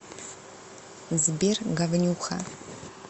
сбер говнюха